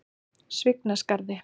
Svignaskarði